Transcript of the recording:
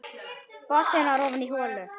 Boltinn var ofan í holu.